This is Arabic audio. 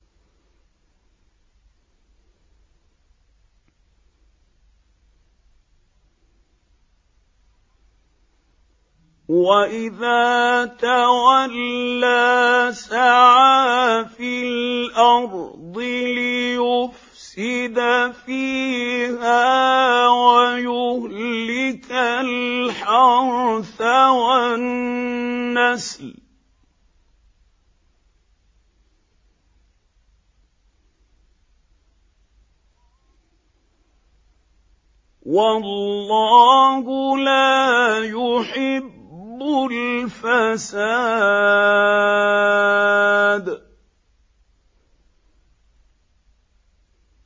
وَإِذَا تَوَلَّىٰ سَعَىٰ فِي الْأَرْضِ لِيُفْسِدَ فِيهَا وَيُهْلِكَ الْحَرْثَ وَالنَّسْلَ ۗ وَاللَّهُ لَا يُحِبُّ الْفَسَادَ